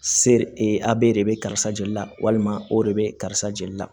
Sere a bɛ de bɛ karisa joli la walima o de bɛ karisa joli la